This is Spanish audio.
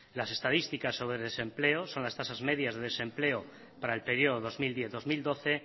las estadísticas sobre desempleo son las tasas medias de desempleo para el periodo dos mil diez dos mil doce